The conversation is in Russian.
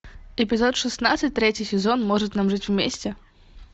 эпизод шестнадцать третий сезон может нам жить вместе